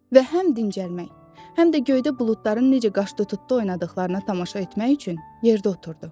Və həm dincəlmək, həm də göydə buludların necə qaş-tutdu oynadıqlarına tamaşa etmək üçün yerdə oturdu.